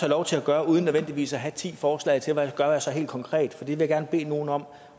lov til at gøre uden nødvendigvis at have ti forslag til hvad jeg så gør helt konkret det vil jeg gerne bede nogle om